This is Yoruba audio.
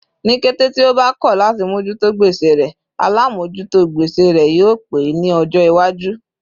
Ni kété tí ó bá kọ láti mojuto gbèsè rẹ, alamojuto gbèsè rẹ yio pé ẹ ní ọjọ iwaju